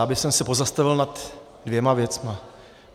Já bych se pozastavil nad dvěma věcmi.